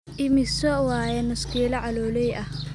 Immisa waye nuskilo caloley ahh